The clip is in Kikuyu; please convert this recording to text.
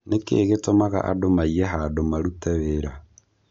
Nĩkĩĩ gĩtũmaga andũ maiye handu marute wĩra?